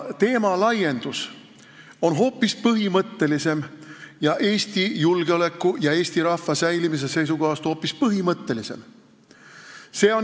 Teema laiendus on hoopis põhimõttelisem, Eesti julgeoleku ja eesti rahva säilimise seisukohast hoopis põhimõttelisem.